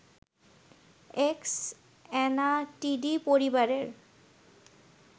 অ্যাক্স Anatidae পরিবারের